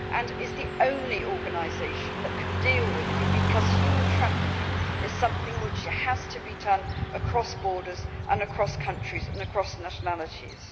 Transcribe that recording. It is the only organisation that can deal with it, because human trafficking is something which has to be done across borders, across countries and across nationalities.